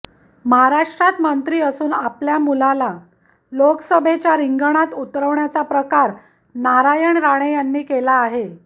महाराष्ट्रात मंत्री असून आपल्या मुलाला लोकसभेच्या रिंगणात उतरवण्याचा प्रकार नारायण राणे यांनी केला आहे